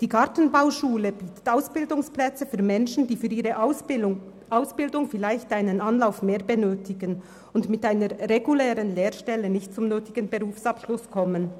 Die Gartenbauschule bietet Ausbildungsplätze für Menschen, die für ihre Ausbildung vielleicht einen zusätzlichen Anlauf benötigen und mit einer regulären Lehrstelle nicht zum angestrebten Berufsabschluss gelangen.